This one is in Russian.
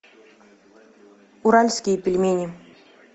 уральские пельмени